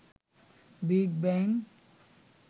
big bang